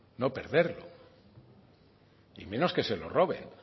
no perderlo y menos que se lo roben